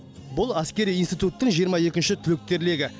бұл әскери институттың жиырма екінші түлектер легі